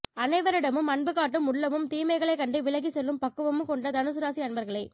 அனைவரிடமும் அன்பு காட்டும் உள்ளமும் தீமைகளை கண்டு விலகி செல்லும் பக்குவம் கொண்ட தனுசு ராசி அன்பர்களே